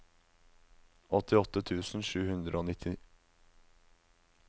åttiåtte tusen sju hundre og nitti